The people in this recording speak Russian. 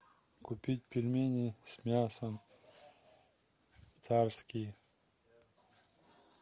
купить пельмени с мясом царские